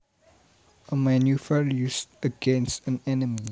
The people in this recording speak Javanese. A maneuver used against an enemy